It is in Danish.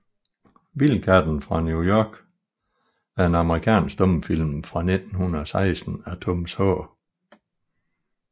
Vildkatten fra New York er en amerikansk stumfilm fra 1916 af Thomas H